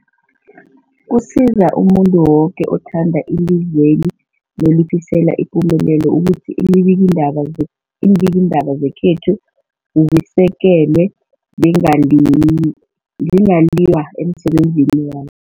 Kusiza umuntu woke othanda ilizweli nolifisela ipumelelo ukuthi iimbikiindaba ze iimbikiindaba zekhethu zisekelwe, zingaliyw zingaliywa emsebenzini wa